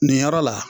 Nin yɔrɔ la